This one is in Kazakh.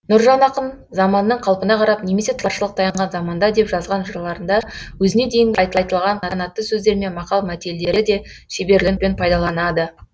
нұржан ақын заманның қалпына қарап немесе таршылық таянған заманда деп жазған жырларында өзіне дейін айтылған қанатты сөздер мен мақал мәтелдері де шеберлікпен пайдаланады